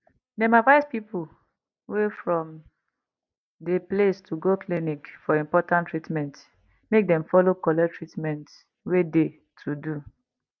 dem advice people wey from de place to go clinic for important treatment make dem follow collect treatment wey de to do